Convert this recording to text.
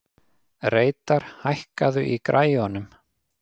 Reidar, hækkaðu í græjunum.